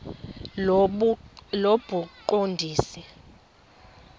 lobuqondisi